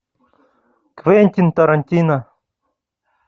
квентин тарантино